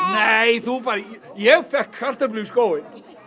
nei ég fékk kartöflu í skóinn